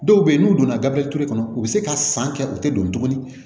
Dɔw bɛ yen n'u donna gabili kɔnɔ u bɛ se ka san kɛ u tɛ don tuguni